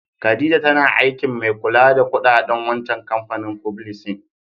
Khadijah tana aikin mai kulla da kudaden wancan kampanin fublisin.